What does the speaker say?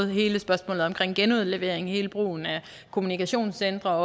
hele spørgsmålet omkring genudlevering hele brugen af kommunikationscentre